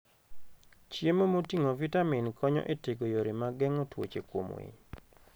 Chiemo moting'o vitamin konyo e tego yore mag geng'o tuoche kuom winy.